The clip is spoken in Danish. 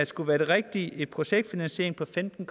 skulle være det rigtige projektfinansiering på femten